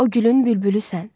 O gülün bülbülüsən.